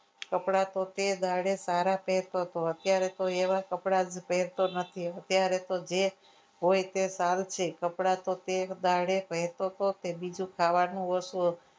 કપડા તો તે દાડે સારા પહેરતો હતો અત્યારે તો એવા કપડાં પહેરતો નથી અત્યારે તો જે હોય છે તે સારું છે કપડા તો તે દાડે પહેરતો હતો કે બીજું ખાવાનું ઓછું હતું.